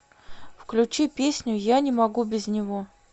включи песню я не могу без него